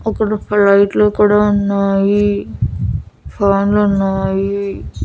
అక్కడ ఫ్లైట్లు కూడా ఉన్నాయి. ఫ్యాన్ లు ఉన్నాయి.